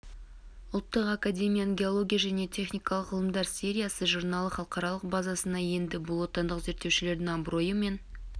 ұлттық академияның геология және техникалық ғылымдар сериясы журналы халықаралық базасына енді бұл отандық зерттеушілердің абыройы мен